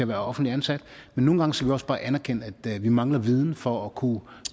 være offentligt ansat men nogle gange skal vi også bare anerkende at vi mangler viden for at kunne